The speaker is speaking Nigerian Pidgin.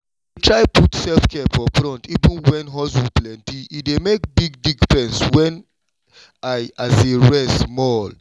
i dey try put self-care for front even when hustle plenty—e dey make big difference when i rest small.